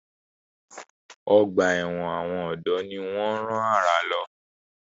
Ọgbà ẹ̀wọ̀n àwọn ọ̀dọ́ ni wọ́n rán àrà lọ.